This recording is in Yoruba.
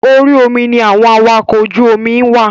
Orí omi ni àwọn awakọ̀ ojú omi ń wà.